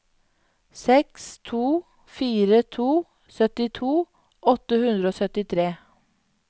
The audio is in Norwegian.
seks to fire to syttito åtte hundre og syttitre